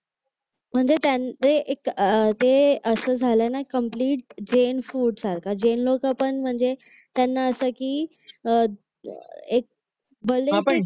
म्हणजे त्यांचं ते एक असं झालं ना कम्प्लीट जैन फूड सारख म्हणजे जैन लोकं पण म्हणजे त्यांना असं की अह एक भलेही